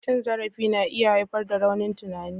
Cin zarafi na iya haifar da raunin tunani.